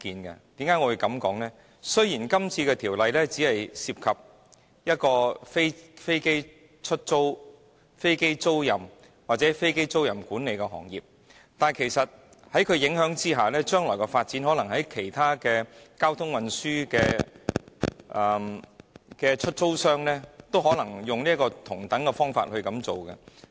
那是因為今次的《條例草案》雖只涉及飛機租賃和飛機租賃管理的行業，但其實在條例影響之下，將來的發展可能是其他交通運輸的出租商，也會提出同樣的要求。